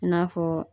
I n'a fɔ